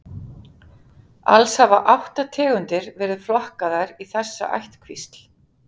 Alls hafa átta tegundir verið flokkaðar í þessa ættkvísl.